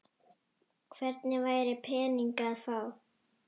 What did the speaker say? Hvergi væri peninga að fá.